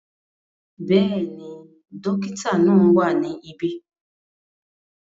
Bẹ́ẹ̀ni, dókítà náà wà ní ibí